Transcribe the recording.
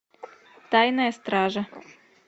тайная стража